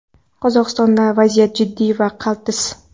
Qozog‘istondagi vaziyat jiddiy va qaltis.